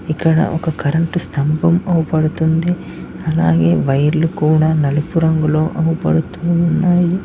ఇక్కడ ఒక కరెంటు స్థంభం అవ్పడుతుంది అలాగే వైర్లు కూడా నలుపు రంగులో అవ్పడుతూ ఉన్నాయి